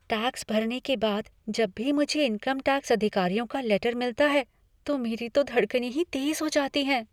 Tax भरने के बाद जब भी मुझे इनकम टैक्स अधिकारियों का लेटर मिलता है, तो मेरी तो धड़कने ही तेज़ हो जाती हैं।